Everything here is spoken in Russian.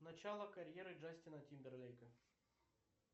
начало карьеры джастина тимберлейка